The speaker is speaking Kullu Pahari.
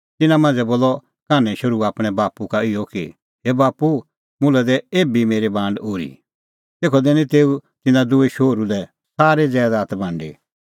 तिन्नां मांझ़ै बोलअ कान्हैं शोहरू आपणैं बाप्पू का इहअ कि हे बाप्पू मुल्है दै एभी मेरी बांड ओर्ही तेखअ दैनी तेऊ तिन्नां दुही शोहरू लै सारी ज़ैदात बांडी